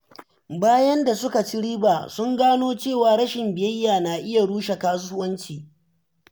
Bayan da suka ci riba, sun gano cewa rashin biyayya na iya rushe kasuwanci.